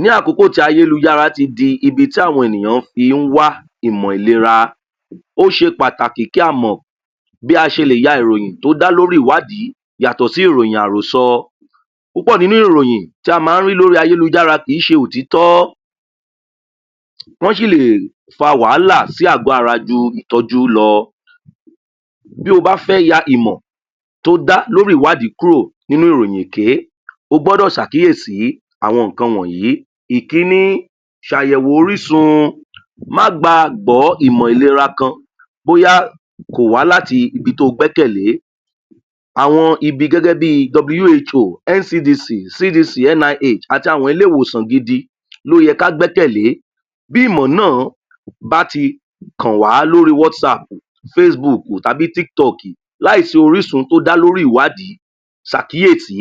Ní àkókò tí ayélujára tí dí bi tí àwọn enìyàn fi ń wá ìmọ̀lera ó ṣe pàtàkì kí a mọ̀ bí a ṣe lè ya ìròyin tó dá lórí ìwádí yàtọ̀ sí ìròyìn àròsọ púpọ̀ nínú ìròyìn tí a má rí lórí ayèlujára kìn ín ṣe òtítọ́ wọn si ̀ lè fa wàhàlà sí àgọ́ ara ju ìtọ́jú lọ bí o bá fẹ́ ya ìmọ̀ tó dá lórí ìwádí kúrò nínú ìròyìn èké o gbọ́dọ̀ sàkíyèsí àwọn ǹkan wònyí ìkíní sàyèwò orísun má gbà gbọ́ ìmọ̀lera kan bóyá kòwá láti ibi tí o gbẹ́kẹ́lẹ̀ àwọn ibi gégébí {who},[NDCD], CDC, NIH, àti àwọn ilé ìwòsàn gidi lóye ká gbẹ́kẹ̀lé bí ìmọ̀ náà bá ti kan wá lórí WhatsApp facebook tàbí tiktok láì sí orísun tó dá lórí ìwádí sàkíyèsí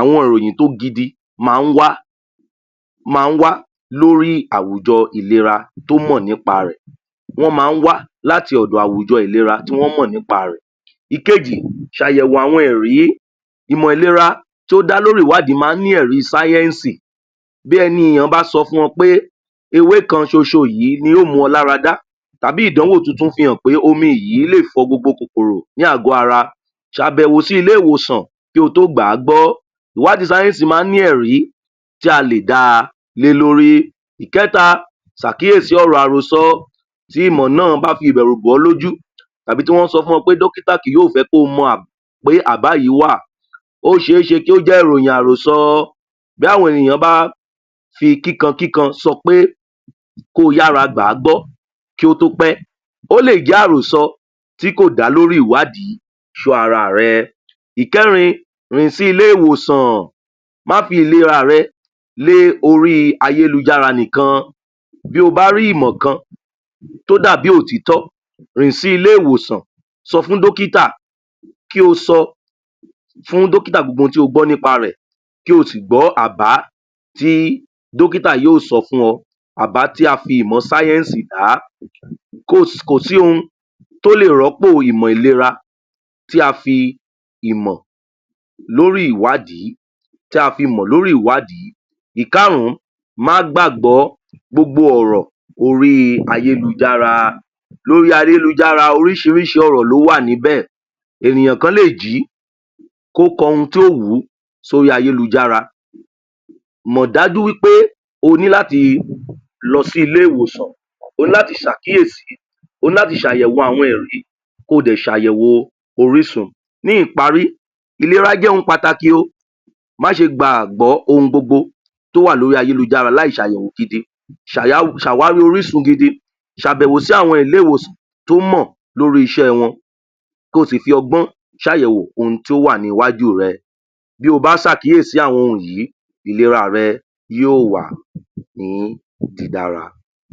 àwọn ìròyìn tó gidi ma wá ma wá lórí àwùjọ ìlera tó mọ̀ nípa rẹ̀ wọ́n ma wá láti ọ̀dọ̀ àwùjọ ìlera tí wọ́n mọ̀ nípa rẹ̀ ìkejì sàyẹ̀wò àwọn ẹ̀rí imọ̀lera tó dá lórí ìwádí má ní ẹ̀rí science bí ẹnìyàn bá sọ fún wọ́n pe ewé kan soso yí ni yóò mú ọ lára dá t̀àbi ìdánwò titun fi hàn pe omi yí lè fọ gbogbo kòkòrò ní àgọ́ ara sàbèwò sí ilé - ìwòsàn kí o tó gbà á gbọ́ iwádí science má ní ẹ̀rí tí a lè da lé lórí ìkẹ́ta sàkíyèsí ọ̀rọ̀ àròsọ tí ìmọ̀ náà bá fi ìbèrù bò ọ́ lójú tàbí tí wọ́n sọ fún ọ pé dọ́kítà kì yó fẹ mọ a pé àbá yí wà o ́ séṣe kó jẹ́ ìròyìn àròsọ bí àwọn ènìyàn bá fi kíkan kíkan sọ pé ko yára gbàágbọ́ kí ó tó ó pé ó lè jẹ́ àròsọ tí kò dá lórí ìwádí sọ́ ara rẹ ìkẹ́rin rìn sí ilé- ìwòsan má fi ìlera rẹ lé orí ayélujára nìkan bí o bá rí ìmò kan tó dàbí òtítọ́ rìn sí ilé́ -ìwòsàn sọ fún dókítà kí o sọ dókítà gbogbo ohun tí o gbọ́ kí o sì gbọ́ àbá tí dókítà yó sọ fún ọ àbá tí a fi ìmọ̀ science dá kó kòsí ohun tó lè rọ́pò ìmọ̀ ìlera tí a fi ìmọ̀ lórí ìwádí tí a fi mọ̀ lórí ìwádí ìkárún má gbàgbọ́ gbogbo ọ̀rọ̀ orí ayélujára lórí ayélujára orísírísí ọ̀rọ̀ ió wà níbẹ̀ ènìyàn kan lé jí kó kọ ohun tó wú sọrí ayélujára mọ̀ dá jú wí pé oní láti lọ sí ilẹ ìwòsàn o ní láti sàkíyèsí o ní láti ṣàyẹ̀wò ko dẹ̀ sàyẹ̀wò orísun ní ìparí ìlera jẹ́ ohun pàtakì o má ṣe gbàgbọ́ ohun gbogbo tó wà lórí ayélujára láì ṣe àyẹ̀wò gidi sà wa rí orísun gidi sàbẹ̀wò sí àwọn ilé - iwòsàn tó mọ̀ ko sì fi ọgbón sàyẹ̀wò ohun tí ó wà ní iwájú rẹ bí o má sàkíyesi àwọn ohun yíì ìlera rẹ yí ó wà ní dídára